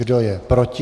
Kdo je proti?